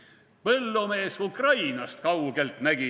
/ Põllumees Ukrainast kaugelt nägi.